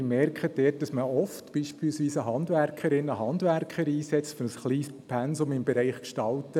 Sie merken dort, dass man oft beispielsweise eine Handwerkerin oder einen Handwerker einsetzt für ein kleines Pensum im Bereich Gestalten.